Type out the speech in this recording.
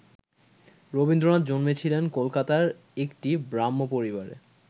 রবীন্দ্রনাথ জন্মেছিলেন কলকাতার একটি ব্রাহ্ম পরিবারে।